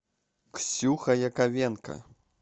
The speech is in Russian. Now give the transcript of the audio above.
ксюха яковенко